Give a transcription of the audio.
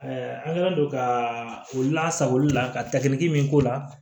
an kɛlen don ka olu lasagoli la ka takili min k'o la